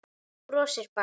Þú brosir bara!